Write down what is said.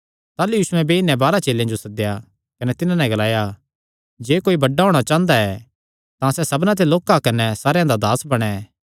ताह़लू यीशुयैं बेई नैं बारांह चेलेयां जो सद्देया कने तिन्हां नैं ग्लाया जे कोई बड्डा होणा चांह़दा तां सबना ते लोक्का कने सारेयां दा दास बणैं